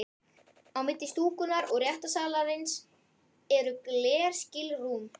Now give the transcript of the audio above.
Á milli stúkunnar og réttarsalarins eru glerskilrúm.